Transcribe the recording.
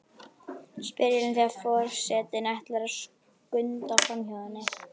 spyr Elín þegar for- setinn ætlar að skunda framhjá henni.